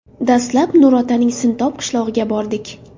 Dastlab Nurotaning Sintob qishlog‘iga bordik.